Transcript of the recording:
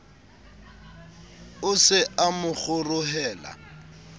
o se a mo kgorohela